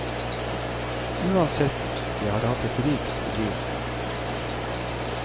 Uansett, jeg har hatt et rikt liv.